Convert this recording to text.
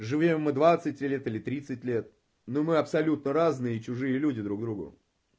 живём мы двадцать лет или тридцать лет но мы абсолютно разные чужие люди друг другу